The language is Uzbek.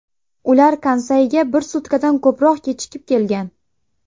Ular Kansayga bir sutkadan ko‘proq kechikib kelgan.